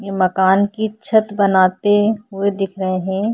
ये मकान की छत बनाते हुए दिख रहे है।